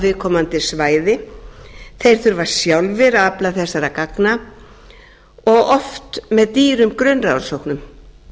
viðkomandi svæði þeir þurfa sjálfir að afla þessara gagna og oft með dýrum grunnrannsóknum